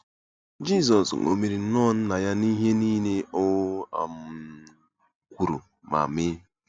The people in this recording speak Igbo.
Jizọs ṅomiri nnọọ Nna ya n'ihe niile o um kwuru ma mee.